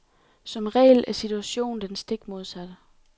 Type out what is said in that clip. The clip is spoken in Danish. Som regel er situationen den stik modsatte.